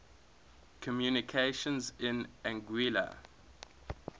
communications in anguilla